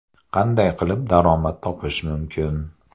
Qanday qilib daromad topish mumkin?